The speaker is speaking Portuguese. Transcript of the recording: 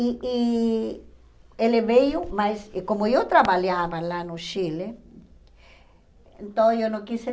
E e ele veio, mas como eu trabalhava lá no Chile, então eu não quis eh